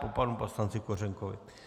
Po panu poslanci Kořenkovi.